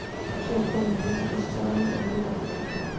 Svo var komið við hjá fisksalanum og í nýlenduvörubúðinni.